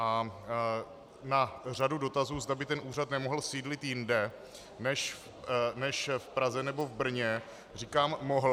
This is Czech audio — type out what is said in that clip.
A na řadu dotazů, zda by ten úřad nemohl sídlit jinde než v Praze nebo v Brně, říkám mohl.